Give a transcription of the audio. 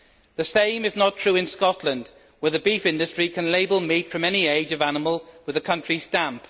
The same is not true in Scotland, where the beef industry can label meat from any age of animal with the country stamp.